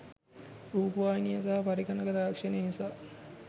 රූපවාහිනිය සහ පරිගණක තාක්ෂණය නිසා